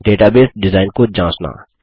database design को जाँचना